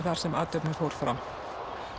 þar sem athöfnin fór fram